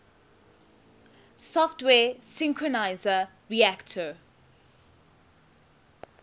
software synthesizer reaktor